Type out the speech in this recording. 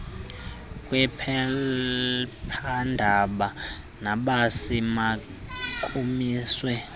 kwephephandaba nobisi makumiswe